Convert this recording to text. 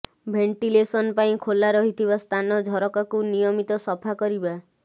ventilation ପାଇଁ ଖୋଲା ରହିଥିବା ସ୍ଥାନ ଝରକାକୁ ନିୟମିତ ସଫା କରିବା